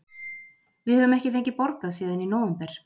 Við höfum ekki fengið borgað síðan í nóvember.